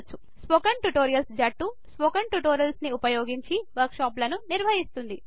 spoken tutorials జట్టు spoken ట్యుటోరియల్స్ను ఉపయోగించి వర్క్ షాప్స్ నిర్వహిస్తుంది